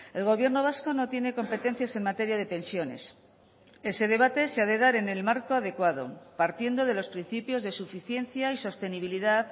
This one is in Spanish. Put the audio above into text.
el gobierno vasco no tiene competencias en materia de pensiones ese debate se ha de dar en el marco adecuado partiendo de los principios de suficiencia y sostenibilidad